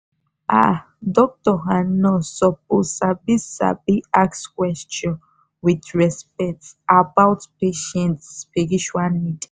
ah doctor and nurse suppose sabi sabi ask question wit respect about patient spiritual need